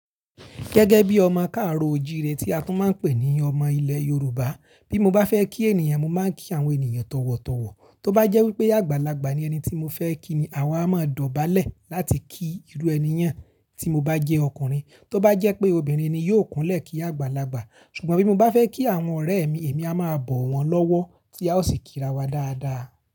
Gẹ́gẹ́ bí ọmọ káàro ojì rẹ tí a tún máa ń pè ní ọmọ ilẹ̀ Yorùbá, bí mo bá fẹ́ kí ènìyàn, mo máa ń kí àwọn ènìyàn tọ̀wọ̀tọ̀wọ̀. Tóbá jẹ́ wípé àgbàlagbà ni ẹni tí mo fẹ́ kí ni àwa a máa dọ̀bálẹ̀ láti ki irú ẹni yẹn, tí mo bá jẹ́ ọkùnrin. Tóbá jẹ́ pé obìnrin ni yóò kúnlẹ̀ kí àgbàlagbà. Ṣùgbọ́n bí mo bá fẹ́ kí àwọn ọ̀rẹ́ mi, èmi a máa bọ̀ wọ́n lọ́wọ́ tí a ó sì kírawa dáadáa.